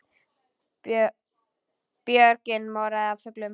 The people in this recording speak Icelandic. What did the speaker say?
Björgin morandi af fuglum.